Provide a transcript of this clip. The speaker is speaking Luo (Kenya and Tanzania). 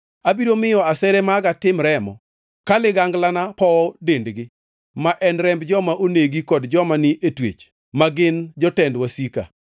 Abiro miyo asere maga tim remo ka liganglana powo dendgi; ma en remb joma onegi kod joma ni e twech, ma gin jotend wasikgi.”